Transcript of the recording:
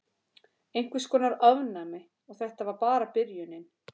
Einhvers konar ofnæmi. Og þetta var bara byrjunin.